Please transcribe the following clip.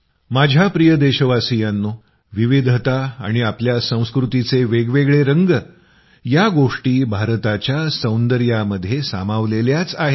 माझ्या प्रिय देशवासियांनो विविधता आणि आपल्या संस्कृतीचे वेगवेगळे रंग या गोष्टी भारताच्या सौंदर्यामध्ये सामावलेल्याच आहे